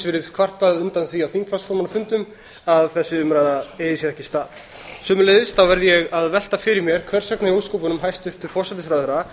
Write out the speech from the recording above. verið kvartað undan því á þingflokksformannafundum að þessi umræða eigi sér ekki stað sömuleiðis verð ég að velta fyrir mér hvers vegna í ósköpunum hæstvirtur forsætisráðherra